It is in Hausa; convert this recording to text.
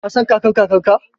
Ka san Kakar-Kakarka?